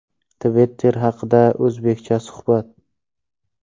Twitter haqida o‘zBeckcha suhbat.